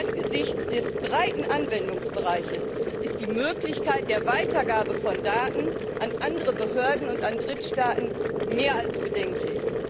Angesichts des breiten Anwendungsbereiches ist die Möglichkeit der Weitergabe von Daten an andere Behörden und an Drittstaaten mehr als bedenklich.